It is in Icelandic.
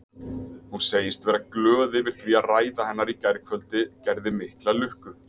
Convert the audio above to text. Hún segist vera glöð yfir því að ræða hennar í gærkvöldi gerði mikla lukku.